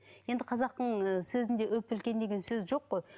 енді қазақтың ы сөзінде үп үлкен деген сөз жоқ қой